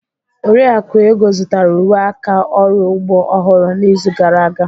Oriakụ Ego zụtara uwe aka ọrụ ugbo ọhụrụ n'izu gara aga.